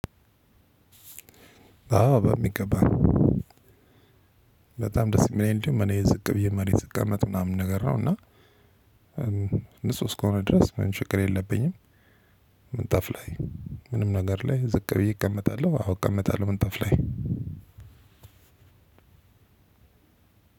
አዎ በሚገባ በጣም ደስ የሚለኝ እንደውም እኔ ዝቅ ብዬ መሬት ስቀመጥ ምናምን ነገር ነው። እና ንጹህ እስከሆነ ድረስ ምንም ችግር የለብኝም። ምንጣፍ ላይ ምንም ነገር ላይ ዝቅ ብዬ እቀመጣለሁ አዎ እቀመጣለሁ ምንጣፍ ላይ